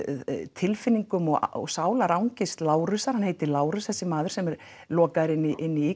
tilfinningum og sálarangist Lárusar hann heitir Lárus þessi maður sem er lokaður inni í